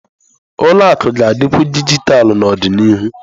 Ụlọ akụ ga-adịkwu dijitalụ n'ọdịnihu.